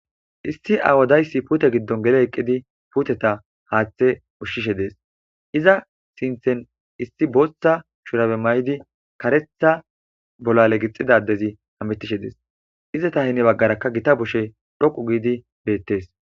Issi awodayssi puute giddon gele eqqidi puteta haaththe ushshishe dees iza sinthen issi booththa shurabe may'di karetha bollale gixxidadezi hametishe dees iza tahini baggarakka gita bushe dhoqu giidi beettees